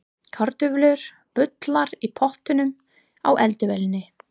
Kartöflur bulla í pottinum á eldavélinni.